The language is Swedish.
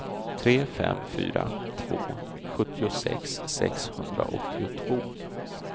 tre fem fyra två sjuttiosex sexhundraåttiotvå